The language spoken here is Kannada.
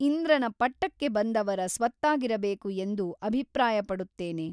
ಇಂದ್ರನ ಪಟ್ಟಕ್ಕೆ ಬಂದವರ ಸ್ವತ್ತಾಗಿರಬೇಕು ಎಂದು ಅಭಿಪ್ರಾಯಪಡುತ್ತೇನೆ.